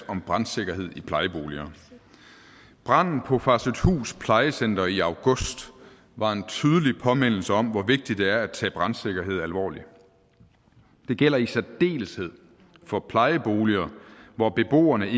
om brandsikkerhed i plejeboliger branden på farsøhthus plejecenter i august var en tydelig påmindelse om hvor vigtigt det er at tage brandsikkerhed alvorligt det gælder i særdeleshed for plejeboliger hvor beboerne